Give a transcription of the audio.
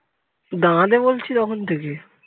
দাঁড়াতে বলছি তখন থেকে